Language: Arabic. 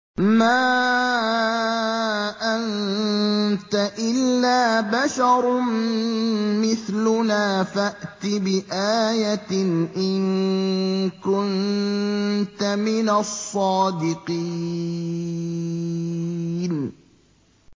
مَا أَنتَ إِلَّا بَشَرٌ مِّثْلُنَا فَأْتِ بِآيَةٍ إِن كُنتَ مِنَ الصَّادِقِينَ